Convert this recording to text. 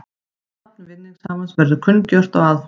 Nafn vinningshafans verður kunngjört á aðfangadag